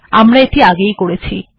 আমরা আগেই এটি করছি